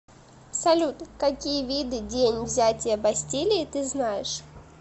салют какие виды день взятия бастилии ты знаешь